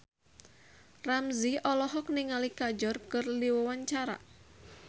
Ramzy olohok ningali Kajol keur diwawancara